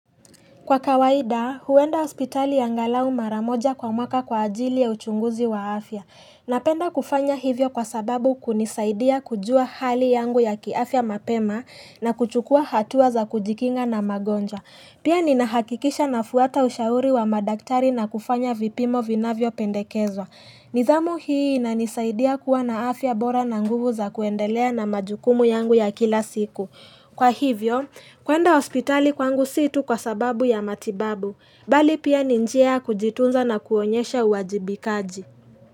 Kwa kawaida, huenda hospitali angalau mara moja kwa mwaka kwa ajili ya uchunguzi wa afya. Napenda kufanya hivyo kwa sababu kunisaidia kujua hali yangu ya kiafya mapema na kuchukua hatua za kujikinga na magonjwa. Pia ninahakikisha nafuata ushauri wa madaktari na kufanya vipimo vinavyo pendekezwa. Nidhamu hii inanisaidia kuwa na afya bora na nguvu za kuendelea na majukumu yangu ya kila siku. Kwa hivyo, kwenda hospitali kwangu si tu kwa sababu ya matibabu, bali pia ni njia kujitunza na kuonyesha uwajibikaji.